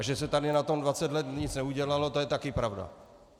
A že se tady na tom 20 let nic neudělalo, to je taky pravda.